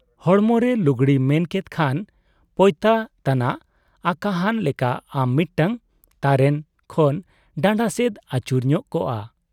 ᱦᱚᱲᱢᱚ ᱨᱮ ᱞᱩᱜᱽᱲᱤ ᱢᱮᱱ ᱠᱮᱫ ᱠᱷᱟᱱ ᱯᱚᱭᱛᱟ ᱛᱟᱱᱟᱜ ᱟᱠᱟᱦᱟᱱ ᱞᱮᱠᱟ ᱟᱢ ᱢᱤᱫᱴᱟᱝ ᱛᱟᱨᱮᱱ ᱠᱦᱟᱱ ᱰᱟᱸᱰᱟ ᱥᱮᱫ ᱟᱹᱛᱩᱨ ᱧᱚᱜ ᱠᱚᱜ ᱟ ᱾